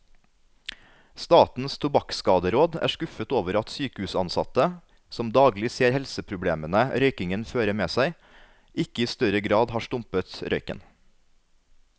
Statens tobakkskaderåd er skuffet over at sykehusansatte, som daglig ser helseproblemene røykingen fører med seg, ikke i større grad har stumpet røyken.